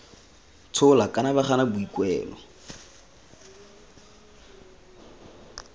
tshola kana ba gana boikuelo